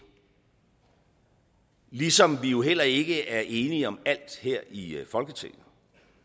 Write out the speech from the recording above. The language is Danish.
ligesom vi jo heller ikke er enige om alt her i folketinget